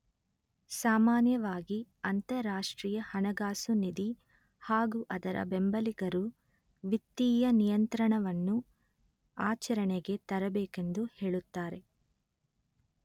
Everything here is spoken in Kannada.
ಸಾಮಾನ್ಯವಾಗಿ ಅಂತರರಾಷ್ಟ್ರೀಯ ಹಣಕಾಸು ನಿಧಿ ಹಾಗೂ ಅದರ ಬೆಂಬಲಿಗರು ವಿತ್ತೀಯ ನಿಯಂತ್ರಣವನ್ನು ಆಚರಣೆಗೆ ತರಬೇಕೆಂದು ಹೇಳುತ್ತಾರೆ